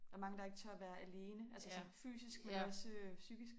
Der mange der ikke tør være alene altså sådan fysisk men også psykisk